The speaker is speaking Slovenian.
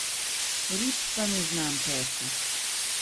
Rib pa ne znam peči.